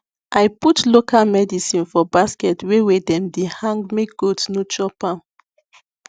i put local medicine for basket wey wey dem de hang make goat no chop am